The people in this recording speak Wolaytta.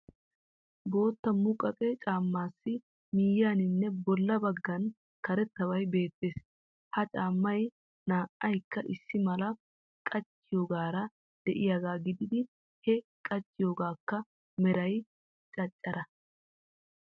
Bootta muqaqe caammaassi miyyiyaninne bolla baggan karettabay beettees. Ha caammay naa'aykka issi mala qachchiyogaara de'iyagaa gididin he qachchiyogaakka meray canccare.